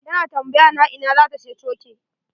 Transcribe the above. Ta na tambaya na in za ta siya coke.